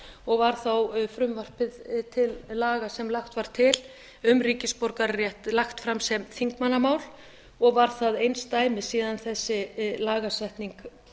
og var þá frumvarpið til laga sem lagt var til um ríkisborgararétt lagt fram sem þingmannamál og var það einsdæmi síðan þessi lagasetning